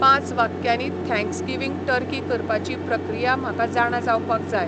पांच वाक्यांनी Thanksgiving turkey करपाची प्रक्रिया म्हाका जाणा जावपाक जाय